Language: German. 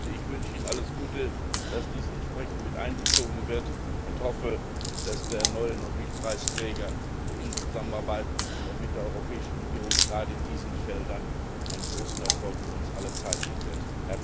Ich wünsche Ihnen alles Gute, dass dies alles entsprechend einbezogen wird, und hoffe, dass der neue Nobelpreisträger in Zusammenarbeit mit der Europäischen Union gerade auf diesen Feldern einen großen Erfolg für uns alle erreichen wird.